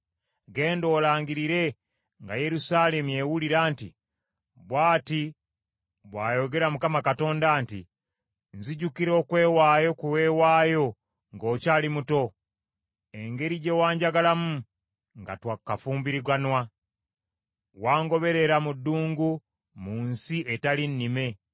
“Genda olangirire nga Yerusaalemi ewulira nti: “Bw’ati bw’ayogera Mukama Katonda nti, “ ‘Nzijukira okwewaayo kwe weewaayo ng’okyali muto, engeri gye wanjagalamu nga twakafumbiriganwa, wangoberera mu ddungu mu nsi etali nnime.